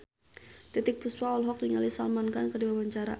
Titiek Puspa olohok ningali Salman Khan keur diwawancara